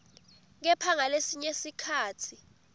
kepha ngalesinye sikhatsi